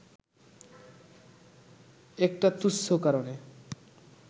একটা তুচ্ছ কারণে